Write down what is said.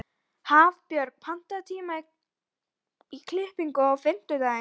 Hafbjörg, pantaðu tíma í klippingu á fimmtudaginn.